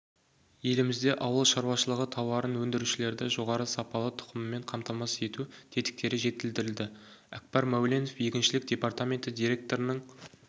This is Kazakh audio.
елімізде ауылшаруашылығы тауарын өндірушілерді жоғары сапалы тұқыммен қамтамасыз ету тетіктері жетілдірілді әкбар мәуленов егіншілік департаменті директорының